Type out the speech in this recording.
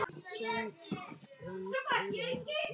Sambönd eru erfið!